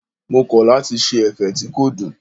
Mo kọ̀ lati ṣe ẹ̀fẹ̀ tí kò dùn.